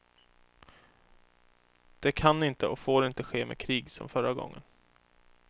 Det kan inte och får inte ske med krig som förra gången.